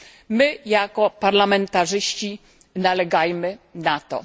My, jako parlamentarzyści, nalegajmy na to.